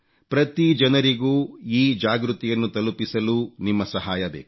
ಪ್ರತಿ ಜನರಿಗೂ ಈ ಜಾಗೃತಿಯನ್ನು ತಲುಪಿಸಲು ನಿಮ್ಮ ಸಹಾಯ ಬೇಕು